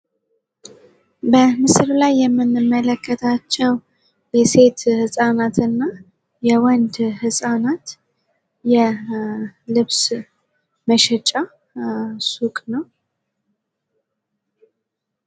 በምስሉ ላይ የምንመለከታቸው የሴት ህጻናት እና የወንድ ህጻናት የልብስ መሸጫ ሱቅ ነው።